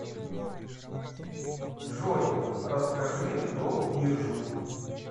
джой расскажи про биржу